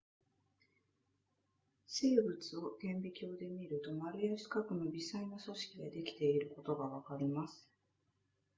生物を顕微鏡で見ると丸や四角の微細な組織でできていることがわかります